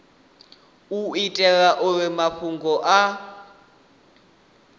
u itela uri mafhungo a